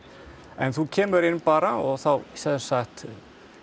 en þú kemur inn bara og þá